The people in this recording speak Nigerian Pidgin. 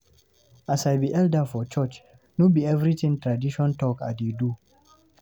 As I be elder for church, no be everytin tradition talk I dey do.